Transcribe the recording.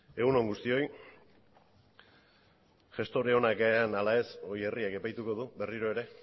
egun on guztioi gestore onak garen ala ez hori herriak epaituko du berriro ere